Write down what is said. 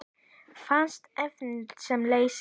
Fast efni sem leysir